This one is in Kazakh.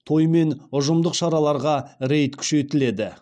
той мен ұжымдық шараларға рейд күшейтіледі